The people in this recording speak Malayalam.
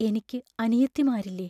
എനിക്ക് അനിയത്തിമാരില്ലേ?